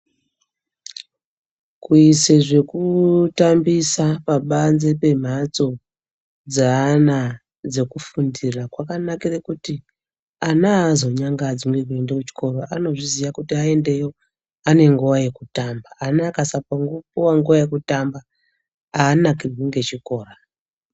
Kuyisa zvekutambisa pabanze pemhatso dzeana dzekufundira, kwakanakira kuti ana azonyangadzwi ngekuenda kuchikora, anozviziya kuti ayendayo anenguva yekutamba. Ana akasapuwa nguwa yekutamba anakirwi ngechikora.